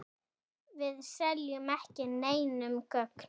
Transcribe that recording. Við seljum ekki neinum gögn.